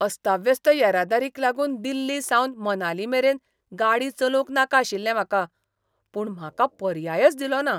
अस्ताव्यस्त येरादारीक लागून दिल्लीसावन मनालीमेरेन गाडी चलोवंक नाका आशिल्लें म्हाका, पूण म्हाका पर्यायच दिलोना.